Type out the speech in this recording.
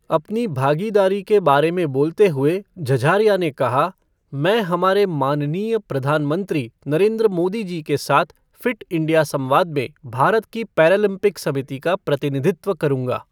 अपनी भागीदारी के बारे में बोलते हुए, झझारिया ने कहा, मैं हमारे माननीय प्रधानमंत्री नरेंद्र मोदीजी के साथ फ़िट इंडिया संवाद में भारत की पैरालंपिक समिति का प्रतिनिधित्व करूंगा।